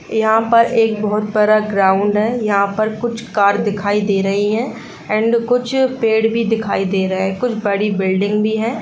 यहाँ पर एक बहुत बड़ा ग्राउंड है यहाँ पर कुछ कार दिखाई दे रही है एंड कुछ पेड़ भी दिखाई दे रहे हैं कुछ बड़ी बिल्डिंग भी है।